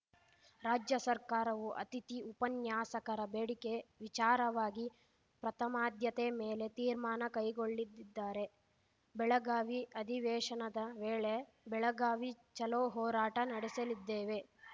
ರಾಜ್ಯ ಸರ್ಕಾರವು ಅತಿಥಿ ಉಪನ್ಯಾಸಕರ ಬೇಡಿಕೆ ವಿಚಾರವಾಗಿ ಪ್ರಥಮಾದ್ಯತೆ ಮೇಲೆ ತೀರ್ಮಾನ ಕೈಗೊಳ್ಳಿದಿದ್ದಾರೆ ಬೆಳಗಾವಿ ಅಧಿವೇಶನದ ವೇಳೆ ಬೆಳಗಾವಿ ಚಲೋ ಹೋರಾಟ ನಡೆಸಲಿದ್ದೇವೆ